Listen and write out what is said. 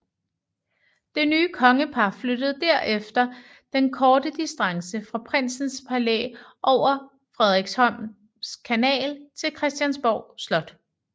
Det nye kongepar flyttede derefter den korte distance fra Prinsens Palæ over Frederiksholms Kanal til Christiansborg Slot